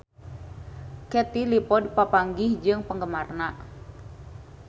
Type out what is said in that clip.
Katie Dippold papanggih jeung penggemarna